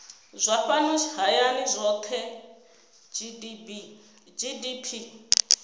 zwa fhano hayani zwohe gdp